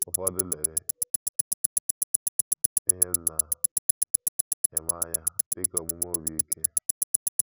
Ụfọdụ lere ihe m na - eme anya dị ka omume obi ike.